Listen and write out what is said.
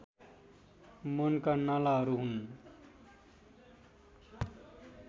मनका नालाहरू हुन्